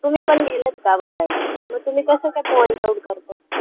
तुम्ही पण गेलेत का बघायला मग तुम्ही कसं काय point out करतातहेत.